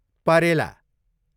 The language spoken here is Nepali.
परेला